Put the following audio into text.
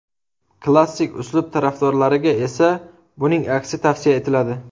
Klassik uslub tarafdorlariga esa buning aksi tavsiya etiladi.